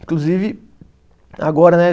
Inclusive, agora, né?